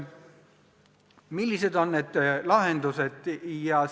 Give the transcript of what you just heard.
Millised on lahendused?